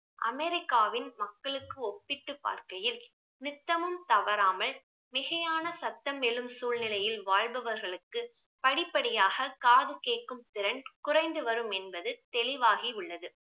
அமெரிக்காவின் மக்களுக்கு ஒப்பிட்டு பார்க்கையில் நித்தமும் தவறாமல் மிகையான சத்தமிளும் சூழ்நிலையில் வாழ்பவர்களுக்கு படிப்படியாக காது கேட்கும் திறன் குறைந்து வரும் என்பது தெளிவாகி உள்ளது